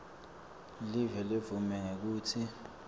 live ledvume ngekutsi